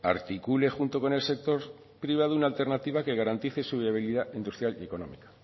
articule junto con el sector privado una alternativa que garantice su debilidad industrial y económica